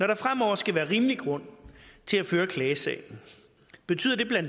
der fremover skal være rimelig grund til at føre klagesagen betyder det bla